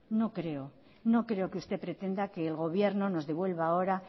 no creo que usted pretenda que el gobierno nos devuelva ahora